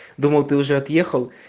думал ты уже отъехал